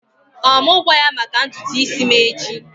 Ọ mụ gwa ya maka ntutu isi m echi?